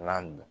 La